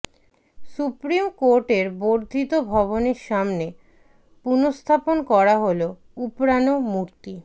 supreme কোর্টের বর্ধিত ভবনের সামনে পুনঃস্থাপন করা হল উপড়ানো মূর্তি